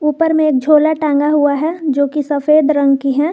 ऊपर में एक झोला टांगा हुआ है जो की सफेद रंग की है।